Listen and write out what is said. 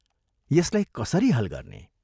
यसलाई कसरी हल गर्ने?